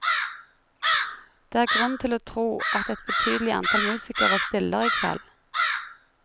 Det er grunn til å tro at et betydelig antall musikere stiller i kveld.